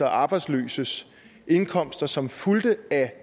og arbejdsløses indkomster som fulgte af